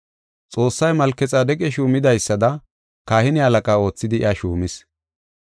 Xoossay Malkexaadeqa shuumidaysada kahine halaqa oothidi iya shuumis.